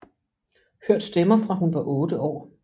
Hørt stemmer fra hun var otte år